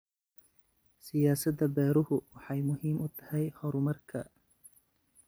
Siyaasadda beeruhu waxay muhiim u tahay horumarka.